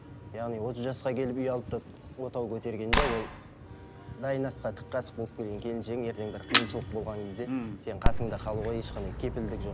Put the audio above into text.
яғни отыз жасқа келіп үй алып та отау көтергенде ол дайын асқа тық қасық болып келген келіншегің ертең бір қиыншылық болған кезде мхм сенің қасыңда қалуға ешқандай кепілдік жоқ